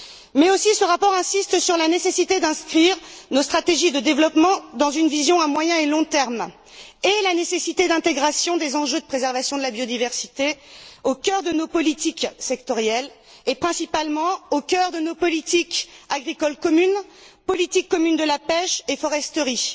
Mais ce rapport insiste aussi sur la nécessité d'inscrire nos stratégies de développement dans une vision à moyen et long terme et sur la nécessité d'intégration des enjeux de préservation de la biodiversité au cœur de nos politiques sectorielles et, principalement, au cœur de la politique agricole commune, de la politique commune de la pêche et de la politique forestière.